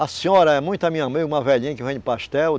A senhora é muito a minha mãe, uma velhinha que vende pastel.